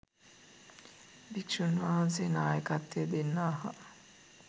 භික්‍ෂුන් වහන්සේ නායකත්වය දෙන්නාහ